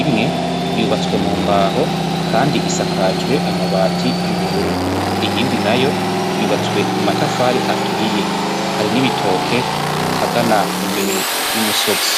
imwe yubatswe mu mbaho kandi isakajwe amabati y'ubururu, iyindi nayo yubatswe mu matafari aturiye hari n'ibitoke hagana imbere y'umusozi.